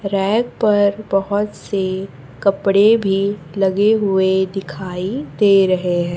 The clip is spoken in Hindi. रैक पर बहोत से कपड़े भी लगे हुए दिखाई दे रहे हैं।